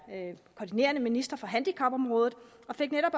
koordinerende minister for handicapområdet og fik netop